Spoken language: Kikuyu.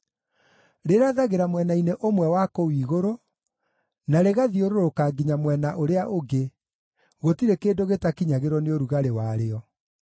Rĩrathagĩra mwena-inĩ ũmwe wa kũu igũrũ, na rĩgathiũrũrũka nginya mwena ũrĩa ũngĩ; gũtirĩ kĩndũ gĩtakinyagĩrwo nĩ ũrugarĩ warĩo.